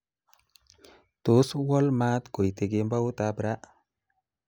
tos, wol maat kuite kemboutab ra